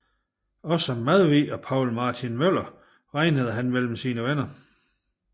Også Madvig og Poul Martin Møller regnede han mellem sine venner